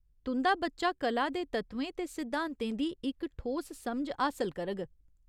तुं'दा बच्चा कला दे तत्वें ते सिद्धांतें दी इक ठोस समझ हासल करग।